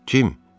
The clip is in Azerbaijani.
Cemm!